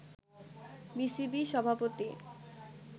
BCB সভাপতি